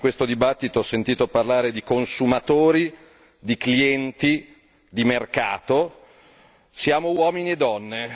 Io, anche in questo dibattito, ho sentito parlare di consumatori, di clienti, di mercato siamo uomini e donne